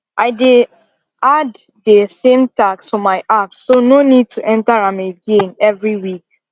i dey add dey same task for my app so no need to enter am again every week